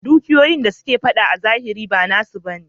Dukiyoyin da suke fada a zahiri ba nasu ba ne.